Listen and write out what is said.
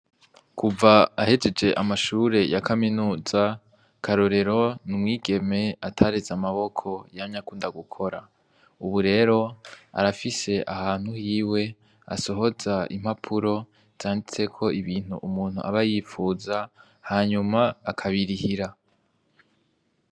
Kuva ahejeje amashure ya kaminuza Karorero n'umwigeme atareze amaboko yamye akunda gukora, ubu rero arafise ahantu hiwe asohoza impapuro zanditseko ibintu umuntu aba yipfuza hanyuma akabirihira.